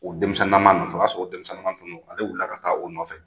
O denmisɛnninnaman nɔfɛ , o ya sɔrɔ o denmisɛnninnaman tun don ale wulila ka taa o nɔfɛ.